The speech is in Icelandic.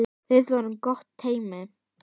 Við vorum gott teymi.